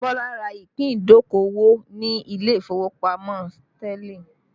Bọlá ra ìpín idokowo ni ilé ìfowópamọ́ Sterling